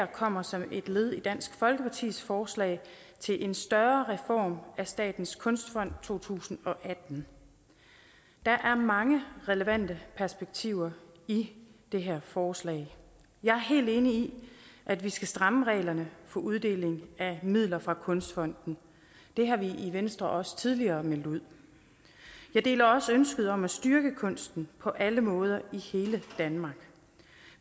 kommer som et led i dansk folkepartis forslag til en større reform af statens kunstfond i to tusind og atten der er mange relevante perspektiver i det her forslag jeg er helt enig i at vi skal stramme reglerne for uddeling af midler fra kunstfonden det har vi i venstre også tidligere meldt ud jeg deler også ønsket om at styrke kunsten på alle måder i hele danmark